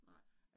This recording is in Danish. Nej